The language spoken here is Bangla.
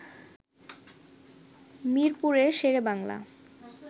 মিরপুরের শেরেবাংলা